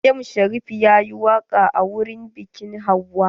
M Sharif yayi waƙa a wurin biƙin hauwa.